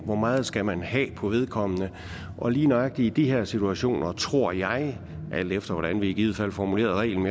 hvor meget skal man have på vedkommende og lige nøjagtig i de her situationer tror jeg alt efter hvordan vi i givet fald formulerer reglen